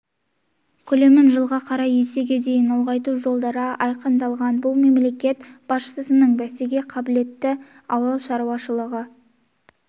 көлемін жылға қарай есеге дейін ұлғайту жолдары айқындалған бұл мемлекет басшысының бәсекеге қабілетті ауыл шаруашылығы